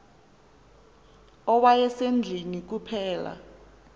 owaye sendlwini kuphela